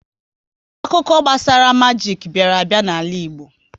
Akụkọ gbasara majik bịara a bịa n'ala Igbo